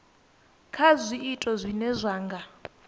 kha zwiito zwine zwa nga